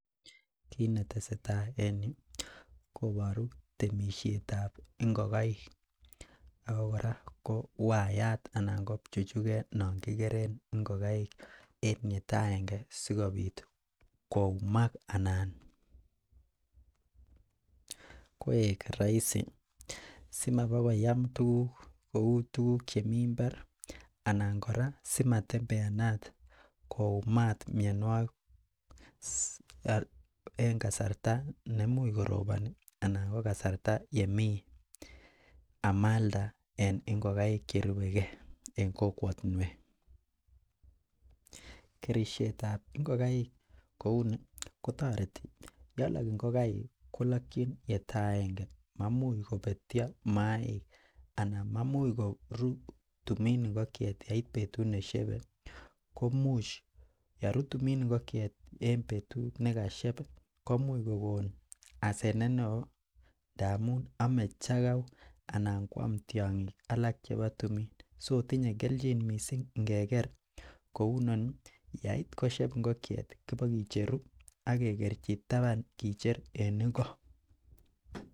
kiit netesetai en yuu koboruu temisheet ab ngogaik ooh kora waiyaat anan ko pchuchuget non kigereen ingogaik en oldo aenge sigibiit koumaak anan koeek roisi, simabagoyaam tuguk chemii imbaar anan koraa simabagotembeanat koumaat myonwogik en kasarta nemuuch koroboni anan en kasarta yemii amaalda en ingogaiik cherubegee en kokwotinweek, kerisheet ab ngogaiik kouu ni kotoreti, yelook ingogaik kolokyiin yetoo aenge, mamuch kobetyoo maaik anan mamuch koruu tumiin ingokyeet yeiit betut neshebe, yeruu tumin ingokyeet en betuut negasheeb iih komuuch kogoon asenet neoo amuun ome chagauu anan kwaam tyongiik alak chebo tumin, so tinye kelchin mising ngeger kouu inoni yaait kosyeeb inokweet kobogicheruu ak kegerchi taban kicheer en ing.